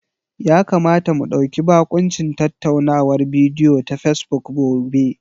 Ya kamata mu ɗauki bakuncin tattaunawar bidiyo ta Fesbuk gobe.